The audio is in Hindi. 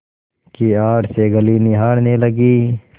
की आड़ से गली निहारने लगी